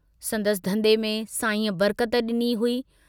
संदसि धन्धे में साईंअ बरकत डिनी हुई।